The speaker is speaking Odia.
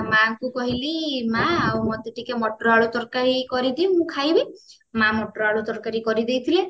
ମାଙ୍କୁ କହିଲି ମା ଆଉ ମତେ ଟିକେ ମଟର ଆଳୁ ତରକାରୀ କରିଦିଅ ମୁଁ ଖାଇବି ମା ମଟର ଆଳୁ ତରକାରୀ କରିଦେଇଥିଲେ